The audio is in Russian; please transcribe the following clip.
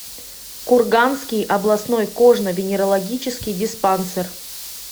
курганский областной кожно венерологический диспансер